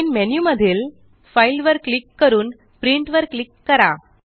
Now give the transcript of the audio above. main मधील file वर click करून Printवर क्लिक करा